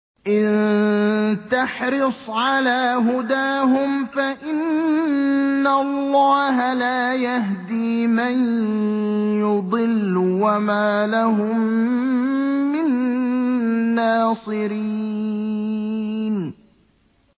إِن تَحْرِصْ عَلَىٰ هُدَاهُمْ فَإِنَّ اللَّهَ لَا يَهْدِي مَن يُضِلُّ ۖ وَمَا لَهُم مِّن نَّاصِرِينَ